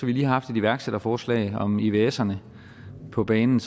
vi lige har haft et iværksætterforslag om ivserne på banen